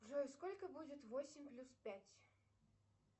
джой сколько будет восемь плюс пять